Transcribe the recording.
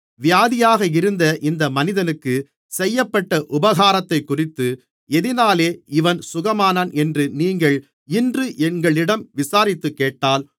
வியாதியாக இருந்த இந்த மனிதனுக்குச் செய்யப்பட்ட உபகாரத்தைக்குறித்து எதினாலே இவன் சுகமானான் என்று நீங்கள் இன்று எங்களிடம் விசாரித்துக்கேட்டால்